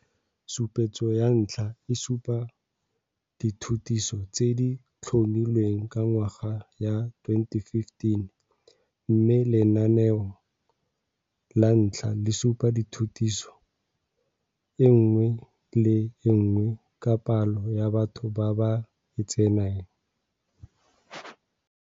Sesupetso sa 1 se supa dithutiso tse di tlhomilweng ka ngwaga ya 2015 mme Lenaneo la 1 le supa thutiso e nngwe le e nngwe ka palo ya batho ba ba e tseneng.